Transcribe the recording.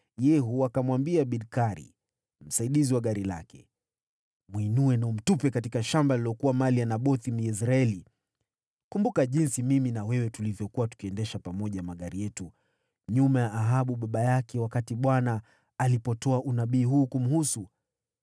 Yehu akamwambia Bidkari, mwendeshaji wa gari lake, “Mwinue na umtupe katika shamba lililokuwa mali ya Nabothi, Myezreeli. Kumbuka jinsi mimi na wewe tulivyokuwa tukiendesha pamoja magari yetu nyuma ya Ahabu baba yake, wakati Bwana alipotoa unabii huu kumhusu: